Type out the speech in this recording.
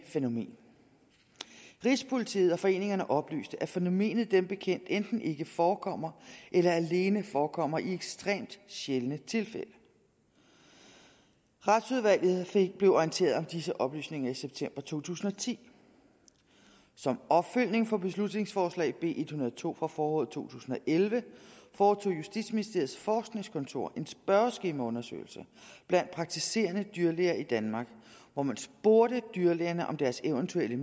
fænomen rigspolitiet og foreningerne oplyste at fænomenet dem bekendt enten ikke forekommer eller alene forekommer i ekstremt sjældne tilfælde retsudvalget blev orienteret om disse oplysninger i september to tusind og ti som opfølgning på beslutningsforslag b en hundrede og to fra foråret to tusind og elleve foretog justitsministeriets forskningskontor en spørgeskemaundersøgelse blandt praktiserende dyrlæger i danmark hvor man spurgte dyrlægerne om deres eventuelle